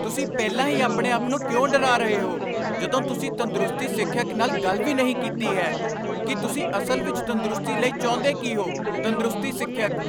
ਤੁਸੀਂ ਪਹਿਲਾਂ ਹੀ ਆਪਣੇ ਆਪ ਨੂੰ ਕਿਉਂ ਡਰਾ ਰਹੇ ਹੋ ਜਦੋਂ ਤੁਸੀਂ ਤੰਦਰੁਸਤੀ ਸਿੱਖਿਅਕ ਨਾਲ ਗੱਲ ਵੀ ਨਹੀਂ ਕੀਤੀ ਹੈ ਕੀ ਤੁਸੀਂ ਅਸਲ ਵਿੱਚ ਤੰਦਰੁਸਤੀ ਲਈ ਚਾਹੁੰਦੇ ਕੀ ਹੋ? ਤੰਦਰੁਸਤੀ ਸਿੱਖਿਅਕ